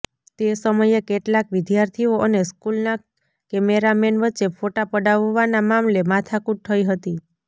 તે સમયે કેટલાંક વિદ્યાર્થીઓ અને સ્કુલના કેમેરામેન વચ્ચે ફોટા પડાવવાના મામલે માથાકુટ થઈ હતી